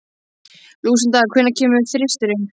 Lúsinda, hvenær kemur þristurinn?